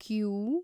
Q